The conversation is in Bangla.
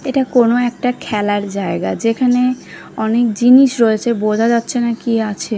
এটা কোনো একটা খেলার জায়গা যেখানে অনেক জিনিস রয়েছে বোঝা যাচ্ছে না কি আছে ।